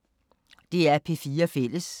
DR P4 Fælles